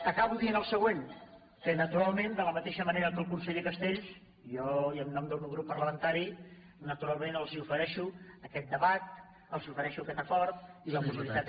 acabo dient el següent que naturalment de la mateixa manera que el conseller castells jo i en nom del meu grup parlamentari natu·ralment els ofereixo aquest debat els ofereixo aquest acord i la possibilitat